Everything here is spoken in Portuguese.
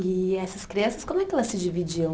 E essas crianças, como é que elas se dividiam?